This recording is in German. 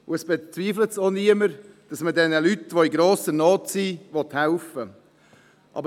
Und es bezweifelt auch niemand, dass man jenen Leuten, die in grosser Not sind, helfen will.